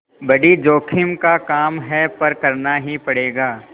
बड़ी जोखिम का काम है पर करना ही पड़ेगा